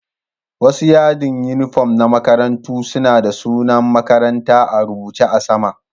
Wasu yadin uniform na makarantu suna da sunan makarantan a'rubuce a'sama.